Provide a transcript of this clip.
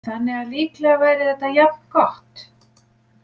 Þannig að líklega væri þetta jafn gott.